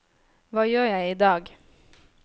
hva gjør jeg idag